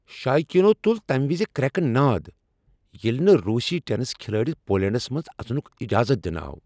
شایقیٖنو تُل تمہِ وِزِ كریٚكہٕ ناد ییٚلہ نہٕ روسی ٹٮ۪نس كھِلٲڈِس پولینٛڈس منٛز اژنک اجازت دنہٕ آو ۔